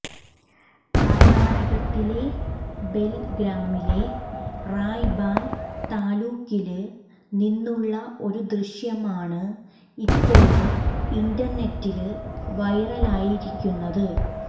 കര്ണാടകത്തിലെ ബെല്ഗാമിലെ റായ്ബാല് താലൂക്കില് നിന്നുള്ള ഒരു ദൃശ്യം ആണ് ഇപ്പോള് ഇന്റര്നെറ്റില് വൈറല് ആയിരിക്കുന്നത്